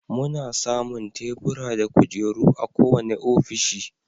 Muna samun Tebura da kujeru a kowane ofishi.